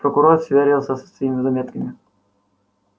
прокурор сверился со своими заметками